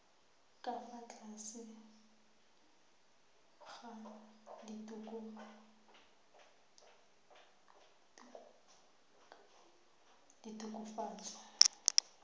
ka fa tlase ga ditokafatso